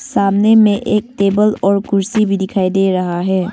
सामने में एक टेबल और कुर्सी भी दिखाई दे रहा है।